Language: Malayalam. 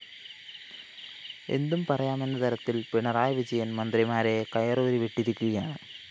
എന്തും പറയാമെന്ന തരത്തില്‍ പിണറായിവിജയന്‍ മന്ത്രിമാരെ കയറൂരി വിട്ടിരിക്കുകയാണ്